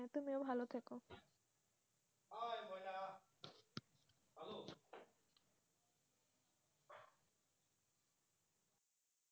তুমি ভালো থেকো